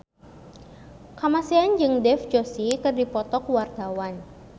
Kamasean jeung Dev Joshi keur dipoto ku wartawan